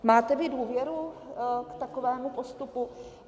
Máte vy důvěru k takovému postupu?